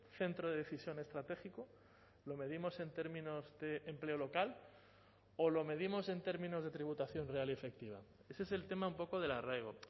centro de decisión estratégico lo medimos en términos de empleo local o lo medimos en términos de tributación real y efectiva ese es el tema un poco del arraigo